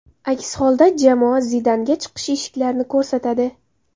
Aks holda jamoa Zidanga chiqish eshiklarini ko‘rsatadi.